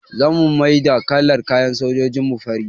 Za mu maida kalar kayan sojojin mu fari